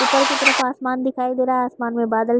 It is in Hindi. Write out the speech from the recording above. ऊपर की तरफ आसमान दिखाई दे रहा आसमान मे बादल।